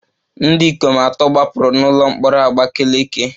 Ndị ikom atọ gbapụrụ n'ụlọ mkpọrọ Abakaleke